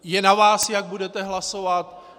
Je na vás, jak budete hlasovat.